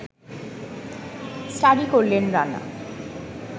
study করল রানা